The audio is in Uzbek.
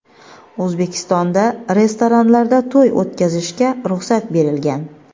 O‘zbekistonda restoranlarda to‘y o‘tkazishga ruxsat berilgan.